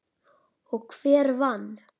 Og hver vann?